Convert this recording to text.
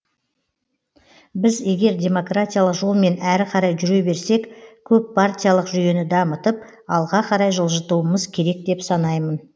біз егер демократиялық жолмен әрі қарай жүре берсек көппартиялық жүйені дамытып алға қарай жылжытуымыз керек деп санаймын